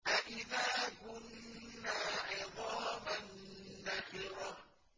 أَإِذَا كُنَّا عِظَامًا نَّخِرَةً